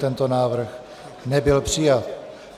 Tento návrh nebyl přijat.